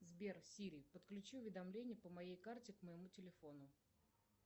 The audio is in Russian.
сбер сири подключи уведомление по моей карте к моему телефону